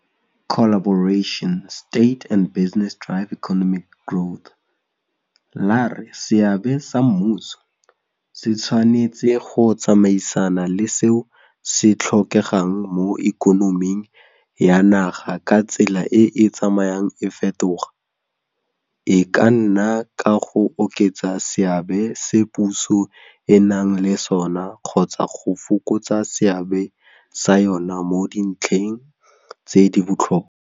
la re seabe sa mmuso se tshwanetse go tsamaisana le seo se tlhokegang mo ikonoming ya naga ka tsela e e tsamayang e fetoga, e ka nna ka go oketsa seabe se puso e nang le sona kgotsa go fokotsa seabe sa yona mo dintlheng tse di botlhokwa.